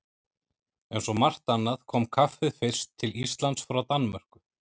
Eins og margt annað kom kaffið fyrst til Íslands frá Danmörku.